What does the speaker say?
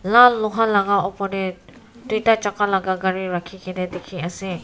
lal luha laga opor teh duita chaka laga gari rakhi kena dikhi ase.